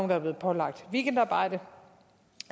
der er blevet pålagt weekendarbejde